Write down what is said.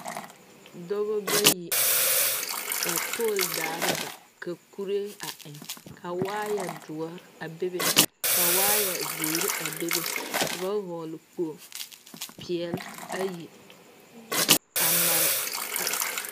Dɔɔba bayi ka pool dare ba ka kuri eŋ ka wire dɔre a be be ka wire ziɛ a be be ka ba vɔgle kpo peɛle ayi a mare a.